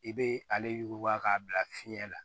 I bɛ ale yuguba k'a bila fiɲɛ la